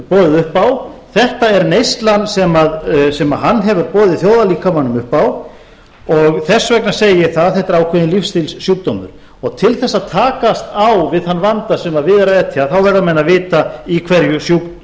boðið upp á þetta er neyslan sem hann hefur boðið þjóðarlíkamanum upp á og þess vegna segi ég það að þetta er ákveðinn lífsstílssjúkdóm til þess að takast á við þann vanda sem við er að etja verða menn að vita í hverju